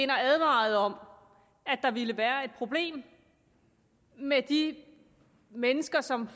advarede om at der ville være et problem med de mennesker som